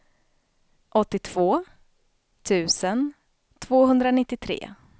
åttiotvå tusen tvåhundranittiotre